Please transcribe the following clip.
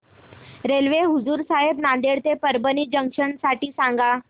railway Hazur Sahib Nanded ते Parbhani junction साठी सांगा